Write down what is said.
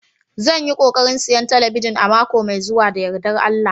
Zan yi kokarin siyan talabijin a mako mai zuwa da yardar Allah